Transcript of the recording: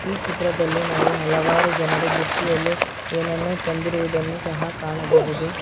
ಈ ಚಿತ್ರದಲ್ಲಿ ನಾವು ಹಲವಾರು ಜನರು ಬುಟ್ಟಿಯಲ್ಲಿ ಏನನ್ನೊ ತಂದಿರುವುದನ್ನು ಸಹ ಕಾಣಬಹುದು.